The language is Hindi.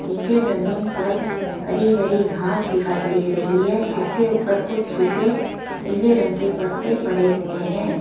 नीचे जमीन पर हरी हरी घास दिखाई दे रही है जिसके ऊपर कुछ सूखे पीले रंग के पत्ते पड़े हुए हैं।